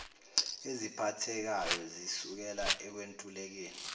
eziphathekayo zisukela ekwentulekeni